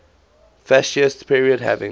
fascist period having